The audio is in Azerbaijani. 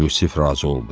Yusif razı oldu.